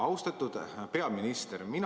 Austatud peaminister!